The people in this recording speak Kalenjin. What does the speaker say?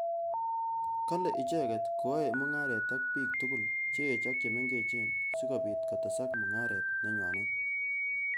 Kale icheket koaei mungaret ak bik tugul. cheech ak chemengech sikobit kotesak mungaret nenywanet.